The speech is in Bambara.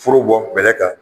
Foro bɔ bɛlɛ kan